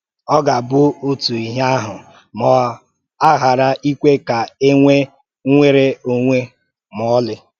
Ọ gà-abụ́ òtù íhè ahụ̀ ma a ghàrà íkwè ka e nwèé nnwèrè-ọ̀nwè́ mà ọ̀lị